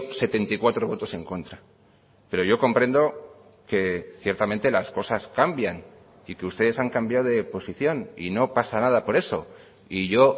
setenta y cuatro votos en contra pero yo comprendo que ciertamente las cosas cambian y que ustedes han cambiado de posición y no pasa nada por eso y yo